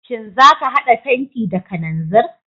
Shin za ka hada fenti da kananzir?